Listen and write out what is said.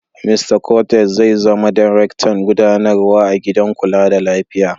Mista Cortez zai zama darektan gudanarwa a gidan kula da lafiya.